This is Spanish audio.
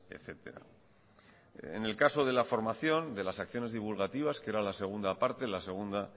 etcétera en el caso de la formación de las acciones divulgativas que era la segunda parte la segunda